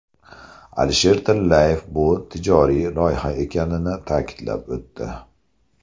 Alisher Tillayev bu tijoriy loyiha ekanini ta’kidlab o‘tdi.